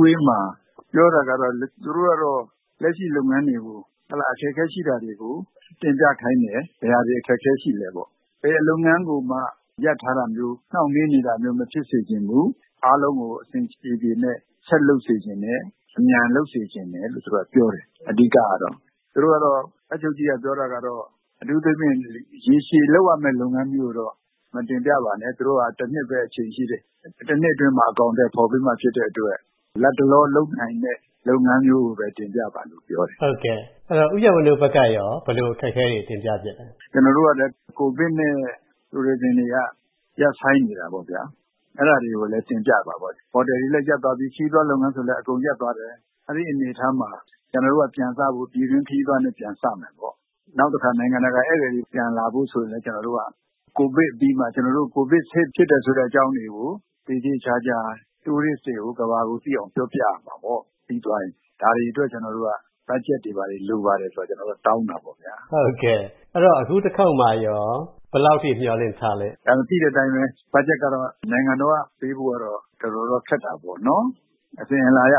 ဝေးမှာ ပြောတာကတော့ လက်ရှိလုပ်ငန်းတွေကို အခက်အခဲရှိတာတွေကို တင်ပြခိုင်းတယ် ဘယ်ဟာတွေ အခက်အခဲရှိသလဲပေ့ါ။ ဘယ်လုပ်ငန်းကိုမှ ရပ်ထားတာမျိုး နှောင့်နှေးနေတာမျိုး မဖြစ်စေချင်ဘူး။ အားလုံးကို အဆင်ပြေပြေနဲ့ ဆက်လုပ်စေချင်တယ်။ အမြန်လုပ်စေချင်တယ် လို့ သူတို့ကပြောတယ် အဓိကတော့။ တပ်ချုပ်ကြီးကပြောတာကတော့ အထူးသဖြင့် ရေရှည်လုပ်ရမယ့် လုပ်ငန်းမျိုးကိုတော့ မတင်ပြပါနဲ့ သူတို့ကတော့ ၁ နှစ်ပဲ အချိန်ရှိတယ် ၁ နှစ်အတွင်းမှာ အကောင်အထည်ဖော်ပေးမှာ ဖြစ်တဲ့အတွက် လက်တလောလုပ်နိုင်တဲ့ လုပ်ငန်းမျိုးကိုပဲ တင်ပြပါလို့ပြောတယ်။ ဟုတ်ကဲ့ ဦးရန်ဝင်းတို့ ဘက်ကရော ဘယ်လိုအခက်အခဲတွေ တင်ပြဖြစ်သလဲ။ ကျနော်တို့ကလည်း COVID နဲ့ tourism တွေက ရပ်ဆိုင်းနေတာပေါ့ဗျာ။ အဲဒါတွေကိုလည်း တင်ပြတာပေါ့ ။ ဟိုတယ်တွေလည်း ရပ်သွားပြီ၊ ခရီးသွားလုပ်ငန်းဆိုရင်လည်း အကုန်ရပ်သွားတယ်။ အဲဒီအနေအထားမှာ ကျနော်တို့က ပြန်စဖို့ ပြည်တွင်းခရီးသွားနဲ့ ပြန်စမယ်ပေါ့။ နောက်တခါ နိုင်ငံတကာ ဧည့်သည်တွေလည်း ပြန်လာဖို့ဆိုတာက COVID အပြီးမှာ COVID safe ဖြစ်တယ်ဆိုတဲ့အကြောင်းတွေကို သေသေချာချာ Tourist တွေကို ကမ္ဘာကို သိအောင်ပြောပြရမှာပေါ့။ ဒါတွေအတွက် ကျနော်တို့က ဘတ်ဂျက်တွေ လိုပါတယ်ဆိုတာ ကျနော်တို့က တောင်းတာပေါ့ဗျာ။ ဟုတ်ကဲ့ အခုတခေါက်မှာရော ဘယ်လောက်အထိ မျှော်လင့်ထားသလဲ။ သိတဲ့အတိုင်းပဲ ဘတ်ဂျက်ကတော့ နိုင်ငံတော်က ပေးဖို့ကတော့ ခက်တာပေါ့နော်။ အစဉ်အလာအရ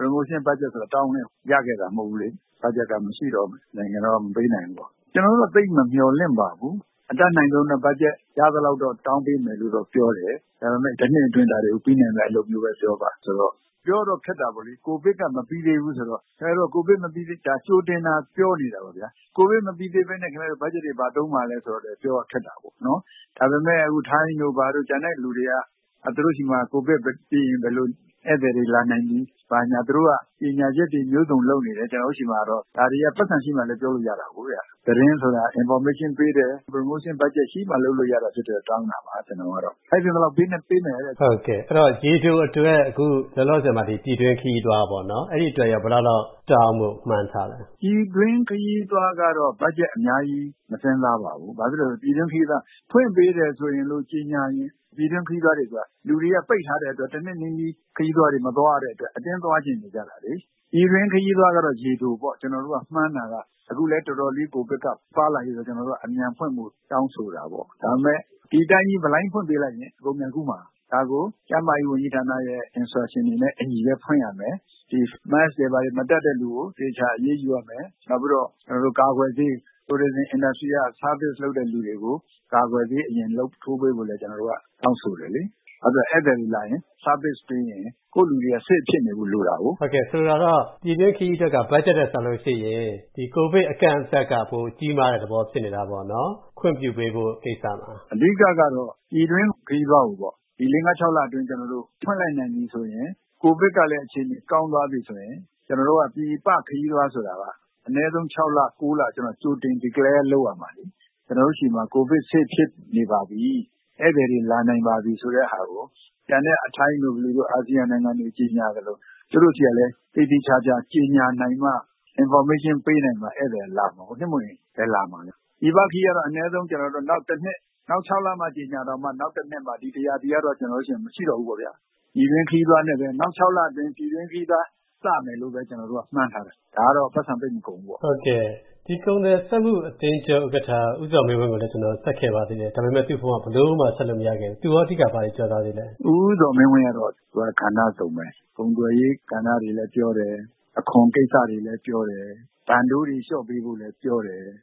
Promotion ဘတ်ဂျက်ဆိုတာ တောင်းလည်း ရခဲ့တာမဟုတ်ဘူးလေ။ ဘတ်ဂျက်က မရှိတော့ နိုင်ငံတော်က မပေးနိုင်ဘူးပေါ့။ ကျနော်တို့ကတော့ သိပ်မမျှော်လင့်ပါဘူး အတတ်နိုင်ဆုံးတော့ ဘတ်ဂျက်ရသလောက်တော့ တောင်းပေးမယ်လို့ပြောတယ်။ ဒါပေမယ့် တနှစ်အတွင်း ဒါတွေကို ပြီးနိုင်မယ့်အလုပ်မျိုးပဲ ပြောပါဆိုတော့ ပြောတော့ ခက်တာပေါ့လေ COVID က မပြီးသေးဘူးဆိုတော့ ။ ဒါက ကြိုတင်သာပြောနေတာပေါ့ဗျာ COVID မပြီးသေးပဲနဲ့ ခင်ဗျားတို့ ဘတ်ဂျက်တွေ ဘယ်မှာသုံးမှာလဲဆိုတော့ ပြောဖို့တော့ ခက်တာပေါ့နော်။ ဒါပေမယ့် ထိုင်းတို့ဘာတို့ ကျန်တဲ့လူတွေက သူတို့ဆီမှာ COVID ပြီးရင် ဘယ်လိုဧည့်သည်တွေ လာနိုင်ပြီ ဘာညာ၊ သူတို့က ကြေညာချက်တွေ မျိုးစုံလုပ်နေတယ် ။ ကျနော်တို့ဆီမှာတော့ ဒါတွေက ပိုက်ဆံရှိမှပဲ ပြောလို့ရတာကို သတင်းဆိုတာ information ပေးတယ်၊ Promotion ဘတ်ဂျက်ရှိမှ လုပ်လို့ရတာကြောင့် တောင်းတာပါ ကျနော်ကတော့ ။ ထိုက်သင့်သလောက် ပေးမယ်တဲ့။ ဟုတ်ကဲ့ အဲဒီတော့ ရေတိုအတွက် အခုလောလောဆည်မှာ ပြည်တွင်းခရီးသွားပေါ့။ အဲဒီအတွက်ရော တောင်းဖို့ ဘယ်လောက်လောက်မှန်းထားသလဲ။ ပြည်တွင်းခရီးသွားကတော့ ဘတ်ဂျက်အများကြီး မစဉ်းစားပါဘူး။ ဘာဖြစ်လို့လဲဆိုတော့ ဖွင့်ပေးတယ်ဆိုပြီး ကြေညာရင် လူတွေက တနှစ်နီးနီး ပိတ်ထားတဲ့အတွက် ပြည်တွင်းခရီးသွားတွေ မသွားရတဲ့အတွက် အတင်းသွားချင်နေကြတာလေ။ ပြည်တွင်းခရီးသွားကတော့ ရေတိုပေါ့ ကျနော်တို့က မှန်းတာက အခုလည်း တော်တော်လေး COVID က ပါးလာတဲ့အတွက် ကျနော်တို့က အမြန်ဖွင့်ဖို့ တောင်းဆိုတာပေါ့။ ဒါပေမယ့် ဒီအတိုင်းကြီးဖွင့်ပေးလိုက်ရင် အကုန်ပြန်ကူးမှာ။ ဒါကို ကျန်းမာရေးဝန်ကြီးဌာနရဲ့ Instruction နဲ့အညီဖွင့်ရမယ်။ Mask တွေဘာတွေ မတတ်တဲ့သူကို သေချာအရေးယူရမယ်။ နောက်ပြီးတော့ ကာကွယ်ဆေး Tourism industry က service လုပ်တဲ့သူတွေကို ကာကွယ်ဆေးအမြန်ထိုးပေးဖို့လည်း ကျနော်တို့တောင်းဆိုတယ်လေ။ နောက်ဧည့်သည်တွေလာရင် Service ပေးရင် ကိုယ့်လူတွေက save ဖြစ်နေဖို့ လိုတာကို။ ဆိုလိုတာက ပြည်တွင်းခရီးအတွက်က ဘတ်ဂျက်ထက်စာရင် COVID အကန့်အသတ်က ကြီးမားတဲ့ သဘောဖြစ်နေတာပေါ့နော် ခွင့်ပြုဖို့ ကိစ္စမှာ။ အဓိကတော့ ပြည်တွင်းခရီးသွားကိုပေါ့ ၄၊ ၅ ၊ ၆ လအတွင်း ဖွင့်လစ်နိုင်ပြီဆိုရင် COVID ကလည်း အခြေအနေ ကောင်းသွားပြီဆိုရင် ကျနော်တို့က ပြည်ပ ခရီးသွားဆိုတာက အနည်းဆုံး ၆ လ ၉ လ ကြိုတင်ပြီး declare ရမှာလေ။ ကျနော်တို့ဆီမှာ COVID safe ဖြစ်နေပါပြီ ဧည့်သည်တွေ လာနိုင်ပါစေ ဆိုတဲ့ဟာကို ကျန်တဲ့ ထိုင်းတို့ အာဆီယံနိုင်ငံတွေ ကြေညာသလို ကျနော်တို့ဆီကလည်း သေသေချာချာ ကြေညာနိုင်မှ Information ပေးနိုင်မှ ဧည့်သည်က လာမှာပေါ့လေ။ နို့မဟုတ်ရင် ဘယ်လာမလဲ ပြည်ပခရီးသွားကတော့ အနည်းဆုံး နောက် ၆ လ ကြေညာရင်တောင်မှ နောက် ၁ နှစ်မှ။ ဒီ ၁ ရာသီကတော့ ကျနော်တို့ဆီမှာ မရှိတော့ဘူးပေါ့ဗျာ။ နောက် ၆ လအတွင်း ပြည်တွင်းခရီးသွား စမယ်လို့ပဲ ကျနော်တို့က မှန်းထားတယ် ဒါကတော့ ပိုက်ဆံသိပ်မကုန်ဘူးပေါ့။ ဟုတ်ကဲ့ ဒီကုန်သည်စက်မှုအသင်းချုပ်ဥက္ကဋ္ဌ ဦးဇော်မင်းဝင်းကိုလည်း ကျနော် ဖုန်းဆက်ခဲ့ပါတယ်။ ဒါပေမယ့် သူ့ဖုန်းက ဘယ်လိုမှ ဆက်လို့မရဘူး။ သူရော အဓိက ဘာတွေ ပြောသွားသေးသလဲ။ ဦးဇော်မင်းဝင်းကတော့ ကဏ္ဍစုံပဲ ကုန်သွယ်ရေး ကဏ္ဍတွေလည်းပြောတယ်၊ အခွန်ကိစ္စတွေလည်းပြောတယ်၊ တန်တိုးတွေလျှော့ပေးဖို့လည်းပြောတယ်။